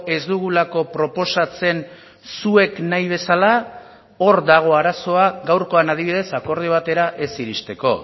ez dugulako proposatzen zuek nahi bezala hor dago arazoa gaurkoan adibidez akordio batera ez iristeko